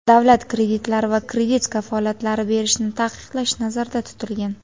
davlat kreditlari va kredit kafolatlari berishni taqiqlash nazarda tutilgan.